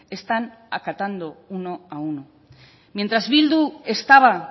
están acatando uno a uno mientras bildu estaba